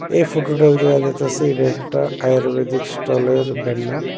এ ফটোটায় দেয়া যাইতাসে এটা একটা আয়ুর্বেদিক স্টলের ব্যানার ।